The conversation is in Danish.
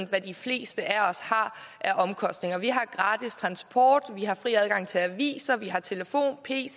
hvad de fleste af os har af omkostninger vi har gratis transport vi har fri adgang til aviser vi har telefon pc